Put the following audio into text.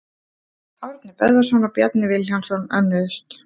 Árni Böðvarsson og Bjarni Vilhjálmsson önnuðust.